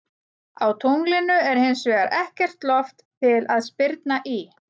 Á tunglinu er hins vegar ekkert loft til að spyrna í.